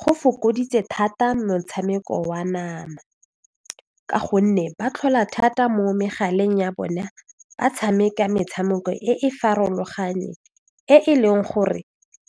Go fokoditse thata motshameko wa nama ka gonne ba tlhola thata mo megaleng ya bona ba tshameka metshameko e e farologaneng e e leng gore